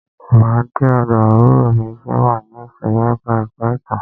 Máa de ọ̀dọ̀ àbúrò mi ti o wà ní ìsòrí ẹka ẹ̀kọ́ ìtàn.